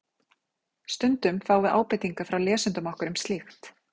Stundum fáum við ábendingar frá lesendum okkar um slíkt.